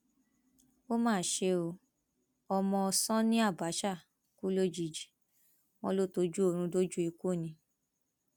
ó mà ṣe o ọmọ sani abache kú lójijì wọn lọ tọjú oorun dójú ikú ni